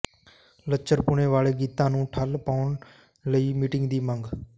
ਲੱਚਰਪੁਣੇ ਵਾਲੇ ਗੀਤਾਂ ਨੂੰ ਠੱਲ ਪਾਉਣ ਲਈ ਮੀਟਿੰਗ ਦੀ ਮੰਗ